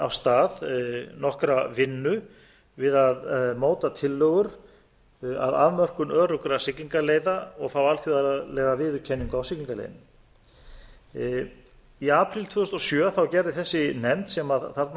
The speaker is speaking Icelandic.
af stað nokkra vinnu við að móta tillögur að afmörkun öruggra siglingaleiða og fá alþjóðlega viðurkenningu á siglingarleiðinni í apríl tvö þúsund og sjö gerði þessi nefnd sem þarna